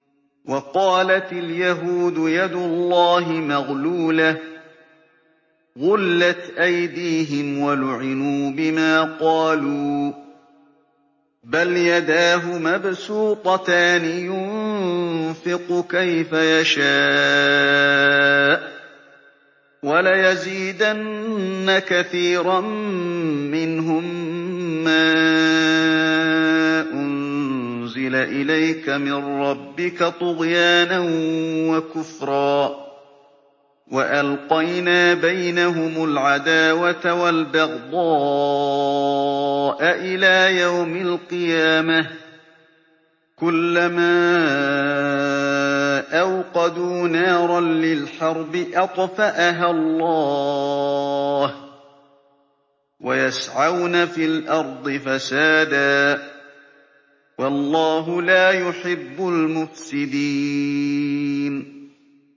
وَقَالَتِ الْيَهُودُ يَدُ اللَّهِ مَغْلُولَةٌ ۚ غُلَّتْ أَيْدِيهِمْ وَلُعِنُوا بِمَا قَالُوا ۘ بَلْ يَدَاهُ مَبْسُوطَتَانِ يُنفِقُ كَيْفَ يَشَاءُ ۚ وَلَيَزِيدَنَّ كَثِيرًا مِّنْهُم مَّا أُنزِلَ إِلَيْكَ مِن رَّبِّكَ طُغْيَانًا وَكُفْرًا ۚ وَأَلْقَيْنَا بَيْنَهُمُ الْعَدَاوَةَ وَالْبَغْضَاءَ إِلَىٰ يَوْمِ الْقِيَامَةِ ۚ كُلَّمَا أَوْقَدُوا نَارًا لِّلْحَرْبِ أَطْفَأَهَا اللَّهُ ۚ وَيَسْعَوْنَ فِي الْأَرْضِ فَسَادًا ۚ وَاللَّهُ لَا يُحِبُّ الْمُفْسِدِينَ